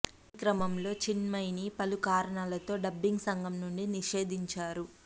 ఈ క్రమంలో చిన్మయిని పలు కారణాలతో డబ్బింగ్ సంఘం నుండి నిషేధించారు